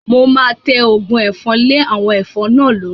Mo máa tẹ Ògùn ẹ̀fọn lé àwọn ẹ̀fọn náà lórí